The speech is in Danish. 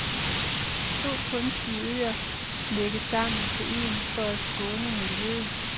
To kunstige øer lægges sammen til en for at skåne miljøet.